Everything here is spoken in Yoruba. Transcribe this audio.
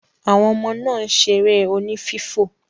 Àwọn ọmọ náà ń ṣeré oní fífò.